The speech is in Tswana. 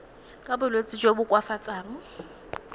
ka bolwetsi jo bo koafatsang